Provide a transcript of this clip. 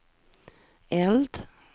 eld